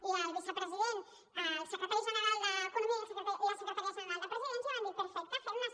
i el vicepresident el secretari general d’economia i la secretària general de presidència van dir perfecte fem ne